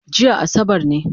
Jiya asabar ne